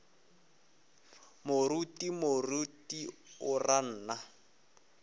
moruti moruti o ra nna